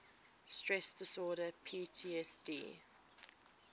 stress disorder ptsd